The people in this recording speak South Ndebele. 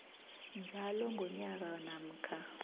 njalo ngonyaka namkha